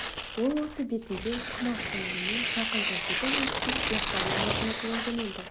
ол осы бетінде құмаштың үйіне жақын жердегі мешітке ястау намазын оқуға жөнелді